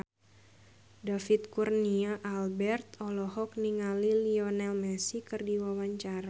David Kurnia Albert olohok ningali Lionel Messi keur diwawancara